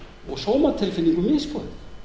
og sómatilfinningu misboðið